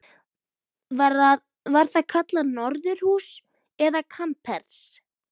Var það kallað norðurhús eða kamers